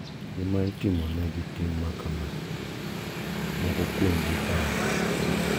Kinde ma itimonegi tim makama, moko kuomgi ipando.